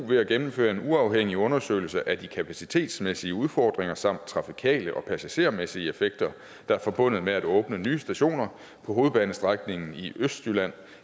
ved at gennemføre en uafhængig undersøgelse af de kapacitetsmæssige udfordringer samt trafikale og passagermæssige effekter der er forbundet med at åbne nye stationer på hovedbanestrækningen i østjylland